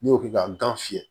N'i y'o kɛ ka gan fiyɛ